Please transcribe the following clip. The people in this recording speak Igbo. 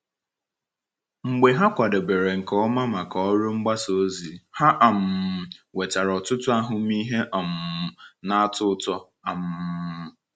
Mgbe ha kwadebere nke ọma maka ọrụ mgbasa ozi, ha um nwetara ọtụtụ ahụmịhe um na-atọ ụtọ. um